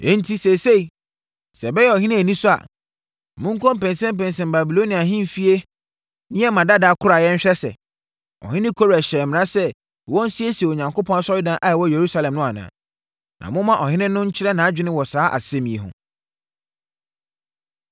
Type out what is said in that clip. Enti, seesei, sɛ ɛbɛyɛ ɔhene anisɔ a, monkɔnpɛnsɛmpɛnsɛm Babilonia ahemfie nneɛma dada akoraeɛ nhwɛ sɛ, ɔhene Kores hyɛɛ mmara sɛ wɔnsiesie Onyankopɔn asɔredan a ɛwɔ Yerusalem no anaa. Na momma ɔhene no nkyerɛ nʼadwene wɔ saa asɛm yi ho.